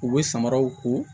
U bɛ samaraw ko